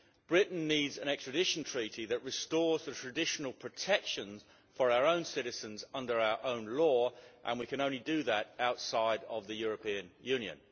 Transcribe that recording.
Britain needs an extradition treaty that restores the traditional protections for our own citizens under our own law, and we can only do that outside of the European Union.